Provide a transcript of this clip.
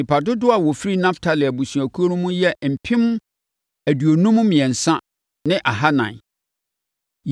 Nnipa dodoɔ a wɔfiri Naftali abusuakuo no mu yɛ mpem aduonum mmiɛnsa ne ahanan (53,400).